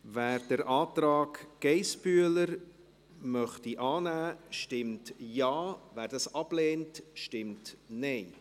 Wer den Antrag Geissbühler annehmen möchte, stimmt Ja, wer diesen ablehnt, stimmt Nein.